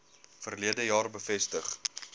verlede jaar bevestig